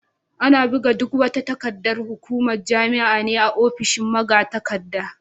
Ana buga duk wata takardar hukumar jami'a ne a ofishin magatakarda.